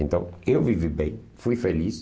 Então, eu vivi bem, fui feliz.